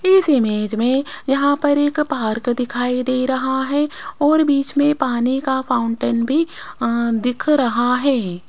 इस इमेज में यहां पर एक पार्क दिखाई दे रहा है और बीच में पानी का फाउंटेन भी अ दिख रहा है।